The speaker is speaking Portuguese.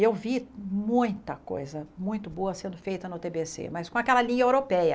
Eu vi muita coisa muito boa sendo feita no TBC, mas com aquela linha europeia.